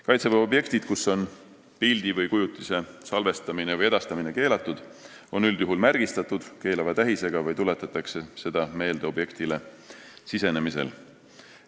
Kaitseväe objektid, kus on pildi/kujutise salvestamine või edastamine keelatud, on üldjuhul märgistatud keelava tähisega või tuletatakse seda meelde objektile sisenemisel.